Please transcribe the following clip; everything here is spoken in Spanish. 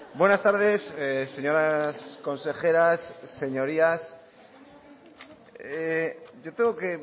buenas tardes señoras consejeras señorías yo tengo que